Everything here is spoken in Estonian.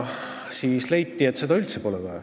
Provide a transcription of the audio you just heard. Siis leiti, et seda pole üldse vaja.